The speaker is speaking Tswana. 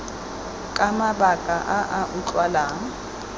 ka mabaka a a utlwalang